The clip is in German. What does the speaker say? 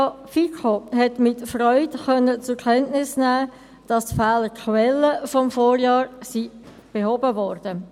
Die FiKo konnte mit Freude zur Kenntnis nehmen, dass die Fehlerquellen des Vorjahres behoben wurden.